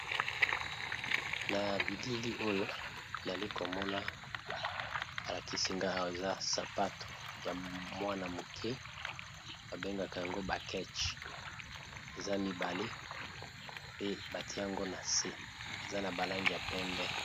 na bilili oyo nali komona balakisi nga awa eza sapato ya mwana moke abengaka yango bakeche eza mibale pe bati yango na se eza na balangi ya pembe